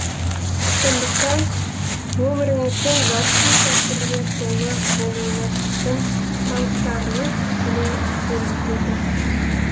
сондықтан өміріңіздің жарқын сәттерге толы болуына сіздің таныстарыңыз тікелей әсер етеді